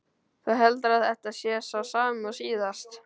Þú heldur að þetta sé sá sami og síðast?